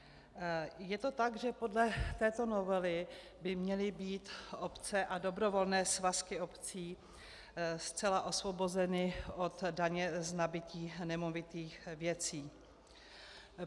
Je to tak, že podle této novely by měly být obce a dobrovolné svazky obcí zcela osvobozeny od daně z nabytí nemovitých věcí.